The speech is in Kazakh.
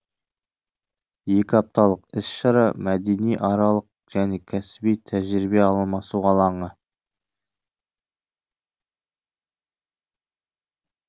екі апталық іс шара мәдениаралық және кәсіби тәжірибе алмасу алаңы